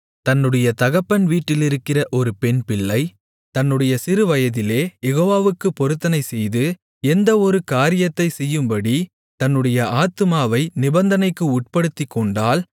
தன்னுடைய தகப்பன் வீட்டிலிருக்கிற ஒரு பெண்பிள்ளை தன்னுடைய சிறுவயதிலே யெகோவாவுக்குப் பொருத்தனைச்செய்து எந்த ஒரு காரியத்தைச் செய்யும்படி தன்னுடைய ஆத்துமாவை நிபந்தனைக்கு உட்படுத்திக்கொண்டால்